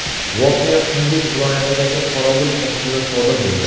Voqea Qunduz viloyatidagi qorovul postida sodir bo‘ldi.